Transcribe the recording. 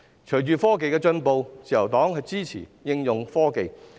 隨着科技進步，自由黨支持應用科技。